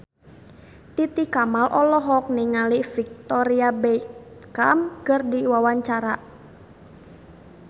Titi Kamal olohok ningali Victoria Beckham keur diwawancara